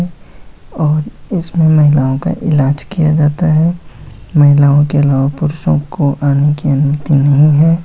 और इसमे महिलाओं का इलार्ज किया जाता है महिलाओं के अलावा पुरुषों को आने की अनुमति नहीं है।